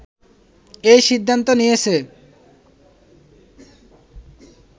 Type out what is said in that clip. এই সিদ্ধান্ত নিয়েছে